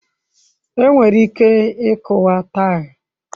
Enwere ike ịkuwa taịlị.